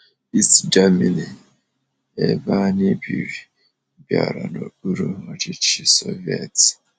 East Germany, ebe anyi biri, bịara n'okpuru ọchịchị Soviet.